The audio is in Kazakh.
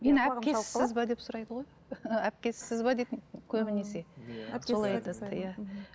әпкесіз бе деп сұрайды ғой әпкесіз бе дейді көбінесе